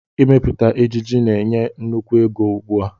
Ịmepụta ejiji na-enye nnukwu ego ugbu a